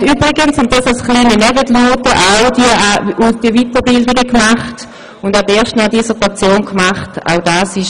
Er hat übrigens diese Weiterbildungen auch absolviert und erst noch eine Dissertation verfasst.